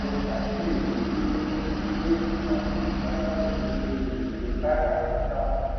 mo ṣàkíyèsí wípé kò sí èrè tàbí ìpàdánu nínú ètò káràkátà